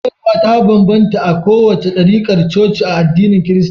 Koyarwa ta banbanta a kowace ɗarikar coci a addinin kirista